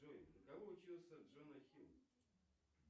джой на кого учился джона хилл